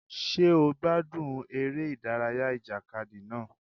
Ṣé ó gbádùn eré ìdárayá ìjàkadì náà?